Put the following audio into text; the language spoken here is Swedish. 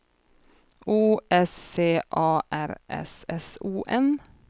O S C A R S S O N